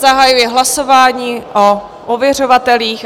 Zahajuji hlasování o ověřovatelích.